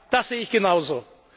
Ja, das sehe ich genauso.